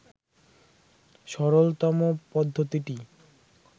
সরলতম পদ্ধতিটি